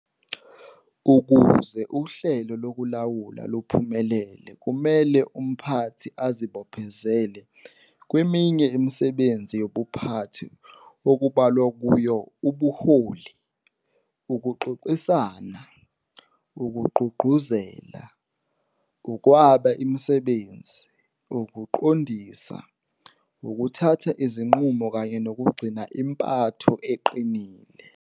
Ukuze uhlelo lokulawula luphumelele kumele umphathi azibophezele kweminye imisebenzi yobuphathi okubalwa kuyo ubuholi, ukuxoxisana, ukugqugquzela, ukwaba imisebenzi, ukuqondisa, ukuthatha izinqumo kanye nokugcina impatho eqinileyo.